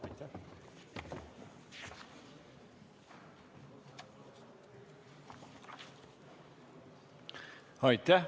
Aitäh!